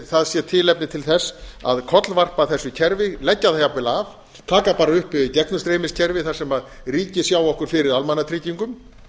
það sé tilefni til þess að kollvarpa þessu kerfi leggja það jafnvel af taka bara upp gegnumstreymiskerfi þar sem ríkið sjái okkur fyrir almannatryggingum